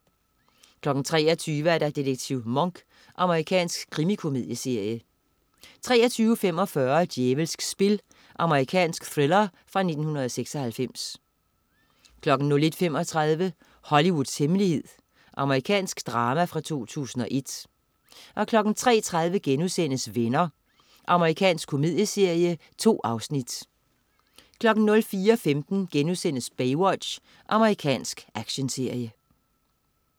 23.00 Detektiv Monk. Amerikansk krimikomedieserie 23.45 Djævelsk spil. Amerikansk thriller fra 1996 01.35 Hollywoods hemmelighed. Amerikansk drama fra 2001 03.30 Venner.* Amerikansk komedieserie. 2 afsnit 04.15 Baywatch.* Amerikansk actionserie